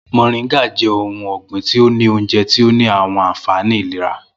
Moringa jẹ̀ ò̩hùn ọgbin tí ó ní ọ̀únjẹ̀ tí ó ní awọn ànfàní ìlẹ̀rà.